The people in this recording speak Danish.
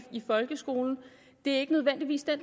folkeskolen ikke nødvendigvis er